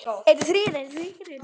En gerði það ekki.